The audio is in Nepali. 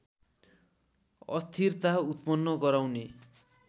अस्थिरता उत्पन्न गराउने